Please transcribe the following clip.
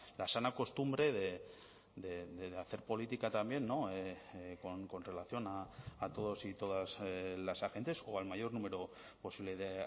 la sana costumbre de hacer política también con relación a todos y todas las agentes o al mayor número posible de